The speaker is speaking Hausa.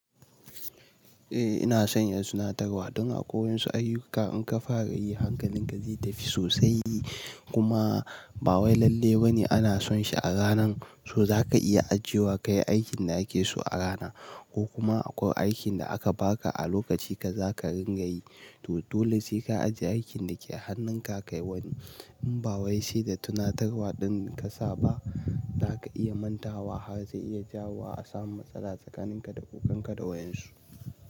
Eh ina son yin tunatarwa dan a kwai wadansu ayuka in ka fara yi hankalin ka zai tafi sosai kuma ba wai lalle ba ne ana son shi a ranan so za ka iya ajiyewa kai aikin da ake so a rana ko kuma akwai aikin da aka baka a lokaci ka za ka ringa yi. To dole sai ka ajiye aikin da ke hannun ka kai wani in ba wai sai da tunatarwa ɗin ka saba za ka iya manta wa har zai iya jawo a samu matsala tsakanin ka da ogan ka da wayan su.